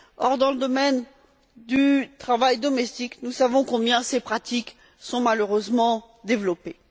Or, dans le domaine du travail domestique, nous savons combien ces pratiques sont malheureusement développées.